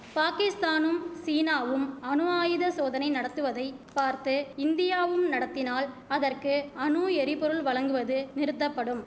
பாகிஸ்தானும் சீனாவும் அணு ஆயுத சோதனை நடத்துவதை பார்த்து இந்தியாவும் நடத்தினால் அதற்கு அணு எரிபொருள் வழங்குவது நிறுத்தப்படும்